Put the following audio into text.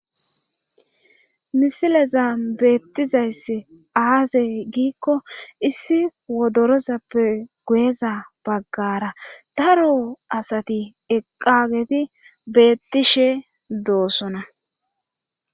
Misilezan beettizayssi aaze giikko issi wodirazappe guyeza baggaara daro asati eqqaageti beettishe doosona